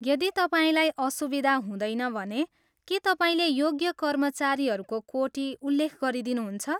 यदि तपाईँलाई असुविधा हुँदैन भने, के तपाईँले योग्य कर्मचारीहरूको कोटी उल्लेख गरिदिनुहुन्छ?